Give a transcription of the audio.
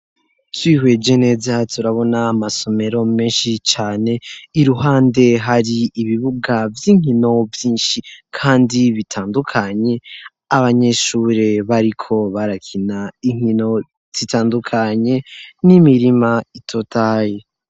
Twihweje neza turabona amasomero menshi cane iruhande hari ibibuga vy'inkino vyinshi kandi bitandukanye, abanyeshure bariko barakina inkino zitandukanye n'imirima itotahaye.